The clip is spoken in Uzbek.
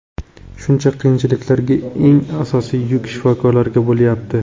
Shuncha qiyinchiliklarda eng asosiy yuk shifokorlarga bo‘layapti.